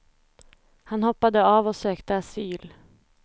Han hoppade av och sökte asyl.